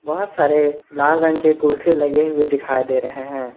बहोत सारे लाल रंग के कुर्सी लगे हुए दिखाई दे रहे हैं।